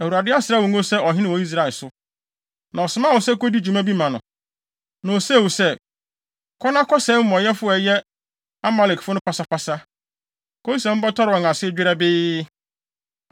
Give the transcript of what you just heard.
Na ɔsomaa wo sɛ kodi dwuma bi ma no, na osee wo sɛ, ‘Kɔ na kɔsɛe amumɔyɛfo a ɛyɛ Amalekfo no pasapasa, kosi sɛ mobɛtɔre wɔn ase dwerɛbee.’